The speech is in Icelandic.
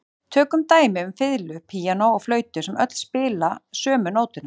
Tökum dæmi um fiðlu, píanó og flautu sem öll spila sömu nótuna.